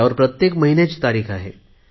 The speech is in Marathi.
त्यावर प्रत्येक महिन्याची तारिख आहे